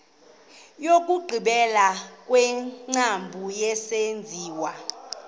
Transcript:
wokugqibela wengcambu yesenziwa